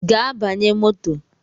Gaa banye moto!